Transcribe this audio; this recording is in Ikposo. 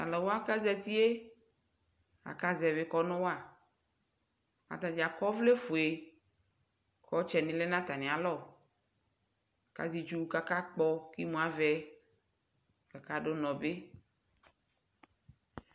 talʋ wa kʋ azatiɛ aka zɛvi kɔnʋ wa, atagya akɔ ɔvlɛ ƒʋɛ kʋ ɔtsɛni yanʋ atami alɔ ka azɛ itsʋ kʋ aka kpɔ imʋ avɛ kʋ aka dʋnɔ bi